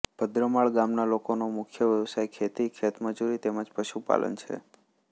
ભદ્રમાળ ગામના લોકોનો મુખ્ય વ્યવસાય ખેતી ખેતમજૂરી તેમ જ પશુપાલન છે